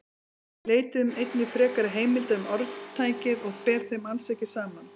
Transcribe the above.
Við leituðum einnig frekari heimilda um orðtækið og ber þeim alls ekki saman.